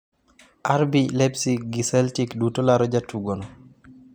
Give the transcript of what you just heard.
RB Leipzig gi Celtic duto laro jatugono.